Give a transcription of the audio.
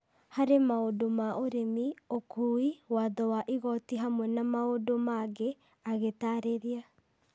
harĩ maũndũ ma ũrĩmi, ũkuui, watho wa igoti hamwe na maũndũ mangĩ, agĩtaarĩria.